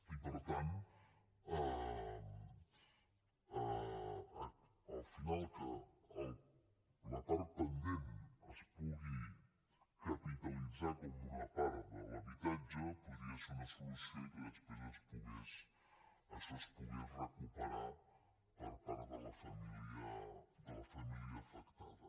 i per tant al final que la part pendent es pugui capitalitzar com una part de l’habitatge podria ser una solució i que després això es pogués recuperar per part de la família afectada